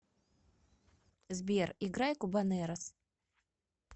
сбер играй кубанэрос